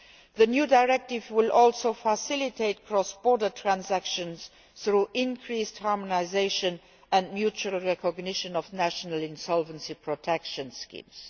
The new directive will also facilitate cross border transactions through increased harmonisation and mutual recognition of national insolvency protection schemes.